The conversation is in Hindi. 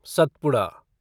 सतपुड़ा